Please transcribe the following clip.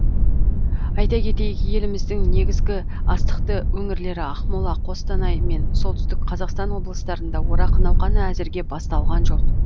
айта кетейік еліміздің негізгі астықты өңірлері ақмола қостанай мен солтүстік қазақстан облыстарында орақ науқаны әзірге басталған жоқ